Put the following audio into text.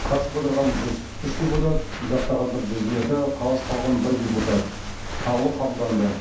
қатысып отырған жүз үш депутат жақтағандар жүз екі қалыс қалған бір депутат қаулы қабылданды